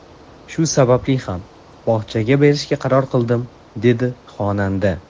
Shu sababli ham bog‘chaga berishga qaror qildim”, dedi xonanda.